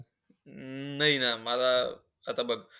अं नाही, ना मला आता बघ,